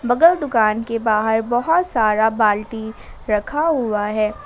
बगल दुकान के बाहर बहुत सारा बाल्टी रखा हुआ है।